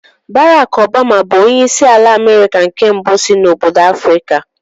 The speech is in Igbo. Bárákk Ọbama bù onyeisi ala Amerika nke mbụ si n'obodo Afrịka